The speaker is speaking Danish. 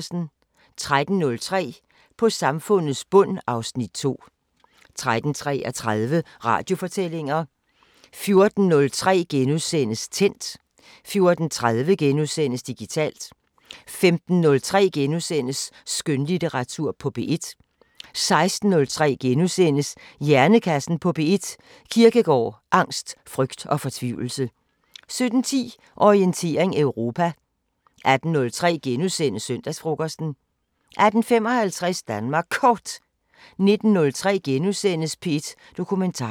13:03: På samfundets bund (Afs. 2) 13:33: Radiofortællinger 14:03: Tændt * 14:30: Digitalt * 15:03: Skønlitteratur på P1 * 16:03: Hjernekassen på P1: Kierkegaard, angst, frygt og fortvivlelse * 17:10: Orientering Europa 18:03: Søndagsfrokosten * 18:55: Danmark Kort 19:03: P1 Dokumentar *